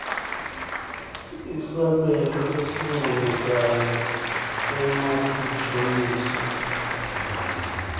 isabelo esincomekayo emasijoliswe